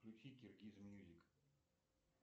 включи киргиз мьюзик